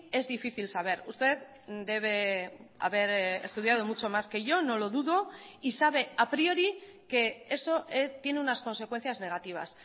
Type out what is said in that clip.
es difícil saber usted debe haber estudiado mucho más que yo no lo dudo y sabe a priori que eso tiene unas consecuencias negativas